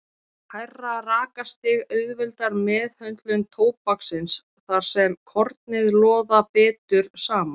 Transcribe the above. Hærra rakastig auðveldar meðhöndlun tóbaksins þar sem kornin loða betur saman.